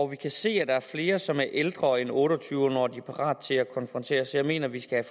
vi kan se at der er flere som er ældre end otte og tyve når de er parat til at konfrontere så jeg mener vi skal